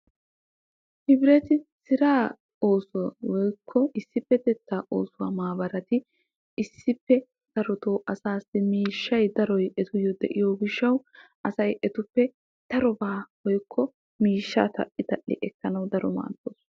Hibreti siraa oosuwa woykko issipetettaa oosuwa maabaratti issippe darotoo asaassi miishshay darotoo etawu de'iyo gishawu asay etuppe darobaa woykko miishshaa tal'i tal'i ekkanawu daro maadoosona.